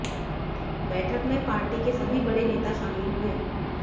बैठक में पार्टी के सभी बड़े नेता शामिल हुए